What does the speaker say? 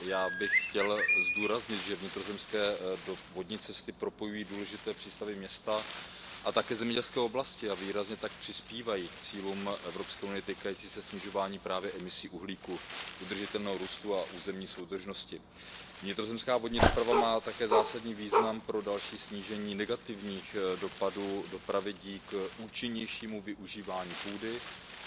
Já bych chtěl zdůraznit, že vnitrozemské vodní cesty propojují důležité přístavy, města a také zemědělské oblasti a výrazně tak přispívají k cílům Evropské unie týkajícím se snižování právě emisí uhlíku, udržitelného růstu a územní soudržnosti. Vnitrozemská vodní doprava má také zásadní význam pro další snížení negativních dopadů dopravy díky účinnějšímu využívání půdy,